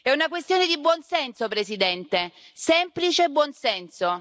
È una questione di buon senso, Presidente, semplice buon senso.